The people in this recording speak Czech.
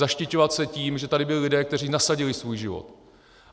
Zaštiťovat se tím, že tady byli lidé, kteří nasadili svůj život.